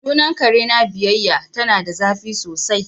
Sunan kare na biyayya ,ta na da zafi sosai.